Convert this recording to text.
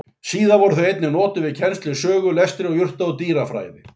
Síðar voru þau einnig notuð við kennslu í sögu, lestri, og jurta- og dýrafræði.